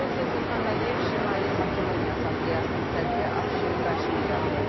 Prezident İlham Əliyev Şimali Makedoniya Assambleyasının sədri Afşin Qaşini qəbul edib.